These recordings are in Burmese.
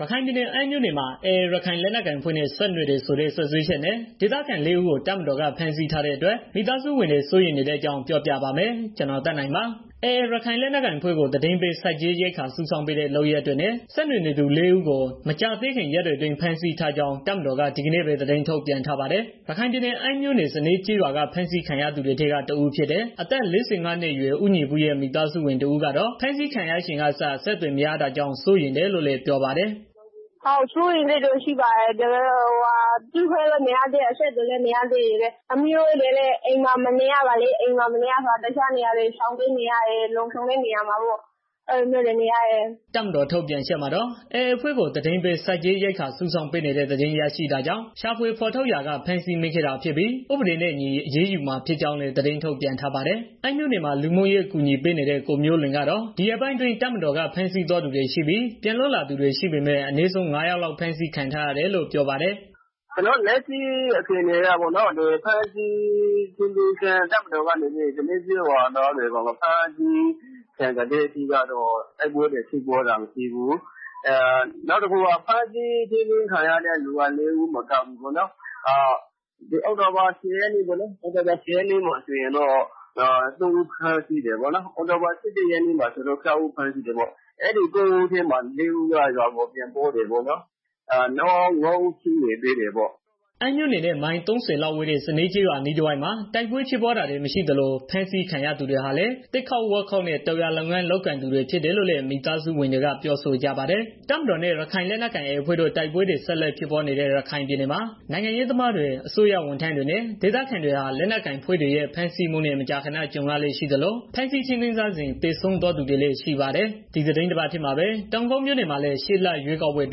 ရခိုင်ပြည်နယ် အမ်းမြို့နယ်မှာ AA ရခိုင်လက်နက်ကိုင်အဖွဲ့နဲ့ ဆက်နွယ်တယ်ဆိုတဲ့ စွပ်စွဲချက်နဲ့ ဒေသခံ ၄ဦးကို တပ်မတော်က ဖမ်းဆီးထားတဲ့အတွက် မိသားစုဝင်တွေ စိုးရိမ်နေတဲ့ အကြောင်း ကိုသက်နိုင် ပြောပြပါမယ်။ AA ရခိုင်လက်နက်ကိုင်အဖွဲ့ကို သတင်းပေး၊ ဆက်ကြေးရိက္ခာစုဆောင်းပေးတဲ့ လုပ်ရပ်တွေနဲ့ ဆက်နွယ်နေသူ လူ ၄ ဦးကို မကြာသေးခင် ရက်တွေအတွင်း ဖမ်းဆီးထားကြောင်း တပ်မတော်က ဒီကနေ့ပဲ သတင်းထုတ်ပြန်ထားပါတယ်။ ရခိုင်ပြည်နယ် အမ်းမြို့နယ် စနဲကျေးရွာက ဖမ်းဆီးခံခဲ့ရသူတွေထဲက တဦးဖြစ်တဲ့ အသက် ၄၅နှစ်အရွယ် ဦးညီပုရဲ့ မိသားစုဝင်တဦးကတော့ ဖမ်းဆီးခံရချိန်ကစ အဆက်အသွယ်မရတာကြောင့် စိုးရိမ်တယ်လို့ ပြောပါတယ်။ " စိုးရိမ်စိတ်တော့ ရှိတယ် အခုအချိန်ထိ တွေ့ခွင့်လည်းမရသေး အဆက်အသွယ်လေးမရသေး။ ပြီးတော့ သမီးတို့လည်း အိမ်မှာနေလို့ မရဘူးဖြစ်နေတယ်။ တစ်ခြာနေရာတွေ ရှောင်ပြေးနေရတယ်။ လုံခြုံတဲ့နေရာတွေကို အဲလိုမျိုးတွေ နေရတယ်။" တပ်မတော် ထုတ်ပြန်ချက်မှာတော့ AAအဖွဲ့ကို သတင်းပေး၊ ဆက်ကြေးရိက္ခာစုဆောင်းပေးနေတဲ့ သတင်းရရှိတာကြောင့် ရှာဖွေဖော်ထုတ်ရာက ဖမ်းဆီးမိခဲ့တာဖြစ်ပြီး ဥပဒေနဲ့အညီအရေးယူမှာ ဖြစ်ကြောင်းလည်း သတင်းထုတ်ပြန်ထားပါတယ်။ အမ်းမြို့နယ်မှာ လူမှုရေးအကူအညီပေးနေတဲ့ ကိုမျိုးလွင်းကတော့ ဒီရက်ပိုင်းအတွင်း တပ်မတော်က ဖမ်းဆီးသွားသူတွေရှိပြီး၊ ပြန်လွတ်လာသူတွေ ရှိပေမဲ့ အနည်းဆုံး ၅ ယောက် ဖမ်းဆီးခံထားရတယ်လို့ ပြောပါတယ်။ " လက်ရှိအခြေအနေအရတော့ တပ်မတော်ကနေပြီးတော့ စနဲကျေးရွာသားတွေကို ဖမ်းဆီး ထိန်းသိမ်းတဲ့အချိန်ကတည်းက တိုက်ပွဲတွေ မရှိဘူး။ နောက်ပြီးတော့ ဖမ်းဆီးထိန်းသိမ်း ခြင်းခံရတဲ့ သူကတော့ လေးဦးမကဘူး အောက်တိုဘာ ၁၀ရက်နေ့က သုံးယောက်ဖမ်းတယ်။ နောက်ပြီးတော့ အောက်တိုဘာ ၁၂ရက်နေ့က ၆ယောက်ဖမ်းတယ်။ အဲဒီ ၉ဦးထဲမှာ လေးယောက်ကတော့ရွာကို ပြန်ရောက်တယ်။ နောက်ငါးယောက် ကျန်နေသေးတာပေါ့နော်။" အမ်းမြို့နယ်နဲ့ မိုင်သုံးဆယ်လောက်ဝေးတဲ့ စနဲကျေးရွာအနီးတဝိုက်မှာ တိုက်ပွဲဖြစ်ပွားတာတွေ မရှိသလိုဖမ်းဆီးခံရ သူတွေဟာလည်း သစ်ခုတ်ဝါးခုတ်နဲ့ တောင်ယာလုပ်ငန်း လုပ်ကိုင်သူတွေ ဖြစ်တယ်လို့လည်း မိသားစုဝင်တွေက ပြောဆိုကြပါတယ်။ တပ်မတော်နဲ့ ရခိုင်လက်နက်ကိုင် AA အဖွဲ့တို့ တိုက်ပွဲတွေ ဆက်လက်ဖြစ်ပွားနေတဲ့ ရခိုင်ပြည်နယ်မှာ နိုင်ငံရေးသမားတွေ၊ အစိုးရဝန်ထမ်းတွေနဲ့ ဒေသခံတွေဟာ လက်နက်ကိုင်အဖွဲ့တွေရဲ့ ဖမ်းဆီးမှုနဲ့ မကြာခဏ ကြုံရလေ့ရှိသလို၊ ဖမ်းဆီးထိန်းသိမ်းထားစဉ် သေဆုံးသွားတွေလည်း ရှိပါတယ်။ ဒီသီတင်းပတ်ထဲမှာပဲ တောင်ကုတ်မြို့နယ်မှာလည်း ရှေ့လရွေးကောက်ပွဲအ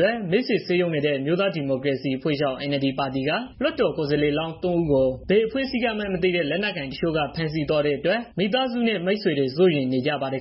တွက် မဲဆွယ်စည်းရုံးနေတဲ့ အမျိုးသားဒီမိုကရေစီအဖွဲ့ချုပ် (NLD) ပါတီက ကိုယ်စားလှယ်လောင်း ၃ ဦးကို ဘယ်အဖွဲ့ကမှန်းမသိတဲ့ လက်နက်ကိုင်တချို့က ဖမ်းဆီးသွားတဲ့အတွက် မိသားစုနဲ့ မိတ်ဆွေတွေ စိုးရိမ်နေကြပါတယ်